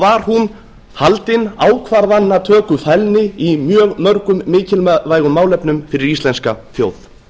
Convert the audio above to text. var hún haldin ákvarðanatökufælni í mjög mörgum mikilvægum málefnum fyrir íslenska þjóð